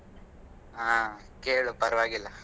ಹಾ ಕೇಳು ಪರವಾಗಿಲ್ಲಾ.